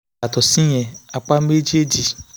yàtọ̀ síyẹn apá méjèèjì